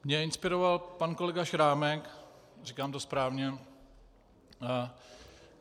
Mne inspiroval pan kolega Šrámek - říkám to správně?